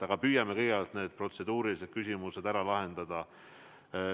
Aga püüame kõigepealt protseduurilised küsimused lahendada.